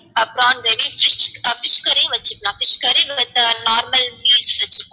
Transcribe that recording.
prawn gravy fish curry வச்சிக்கலாம் fish curry with normal meals வச்சிக்கலாம்